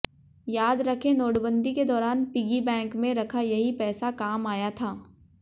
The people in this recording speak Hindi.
याद रखें नोटबंदी के दौरान पिगिबैंक में रखा यही पैसा काम आया था